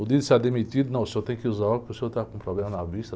demitido, não, o senhor tem que usar o óculos, porque o senhor está com problema na vista.